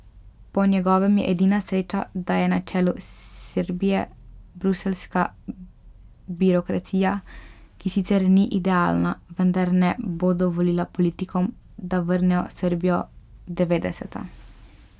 Po njegovem je edina sreča, da je na čelu Srbije bruseljska birokracija, ki sicer ni idealna, vendar ne bo dovolila politikom, da vrnejo Srbijo v devetdeseta.